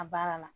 A baara la